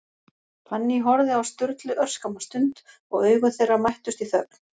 Fanný horfði á Sturlu örskamma stund, og augu þeirra mættust í þögn.